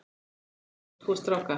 Sjálf á Linda tvo stráka.